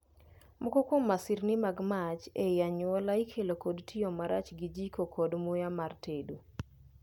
Moko kuom masirni mag mach ei anyuola ikelo kod tiyo marach gi jiko kod muya mar tedo.